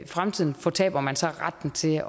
fremtiden fortaber man så retten til